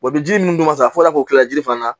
bi ji ninnu dun ka sa fɔ ka kila ji fana na